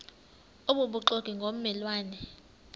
obubuxoki ngomme lwane